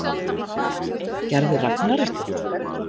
Gerði Ragnar eitthvað?